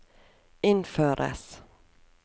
innføres